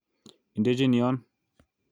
Idechin yon